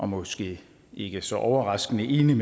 måske ikke så overraskende enig